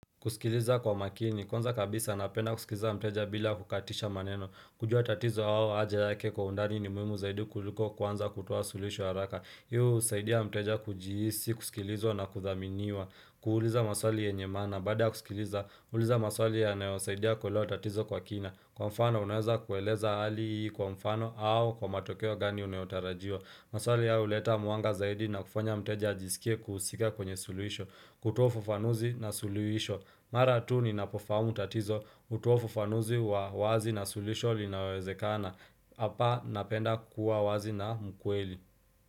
Kusikiliza kwa makini, kwanza kabisa napenda kusikiliza mteja bila kukatisha maneno, kujua tatizo au haja yake kwa undani ni muhimu zaidi kuliko kuanza kutoa suluhisho haraka Hii husaidia mteja kujihisi, kusikilizwa na kuthaminiwa, kuuliza maswali yenye maana, baada ya kusikiliza, uliza maswali yanayosaidia kuelewa tatizo kwa kina Kwa mfano unaweza kueleza hali kwa mfano au kwa matokeo gani unayotarajiwa maswali haya huleta mwanga zaidi na kufanya mteja ajisikie kuhusika kwenye suluhisho, kutoa ufafanuzi na suluhisho Mara tu ninapofahamu tatizo hutoa ufafanuzi wa wazi na suluhisho linalowezekana. Hapa napenda kuwa wazi na mkweli.